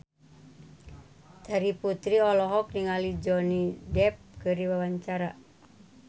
Terry Putri olohok ningali Johnny Depp keur diwawancara